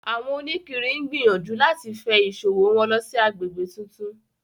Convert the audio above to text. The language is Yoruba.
Àwọn òníkiri ń gbìyànjú láti fe ìṣòwò wọn lọ sí àgbègbè tuntun